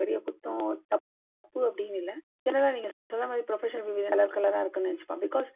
பெரிய குத்தம் தப்பு அப்பிடீன்னு இல்லை. general லா நீங்க சொல்றா மாதிரி professional color colour ரா இருக்குன்னு நினைச்சுப்பாங்க. because